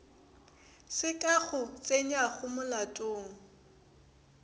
se ka go tsenyago molatong